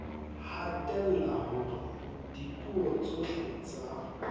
hatella hore dipuo tsohle tsa